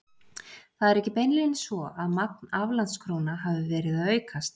Það er ekki beinlínis svo að magn aflandskróna hafi verið að aukast.